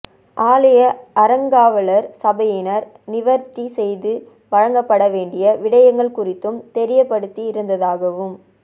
ஆலய அறங்காவலர் சபையினர் நிவர்த்தி செய்து வழங்கப்பட வேண்டிய விடயங்கள் குறித்தும் தெரியப்படுத்தி இருந்ததாகவும்